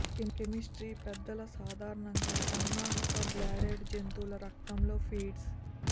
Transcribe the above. క్రిమి స్త్రీ పెద్దలు సాధారణంగా సన్నాహక బ్లడెడ్ జంతువుల రక్తం లో ఫీడ్స్